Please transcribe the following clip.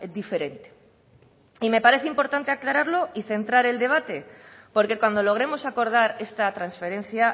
diferente y me parece importante aclararlo y centrar el debate porque cuando logremos acordar esta transferencia